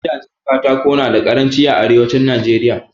Gidajen Katako nada karanci a arewacin Najeriya